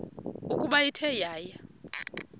ukuba ithe yaya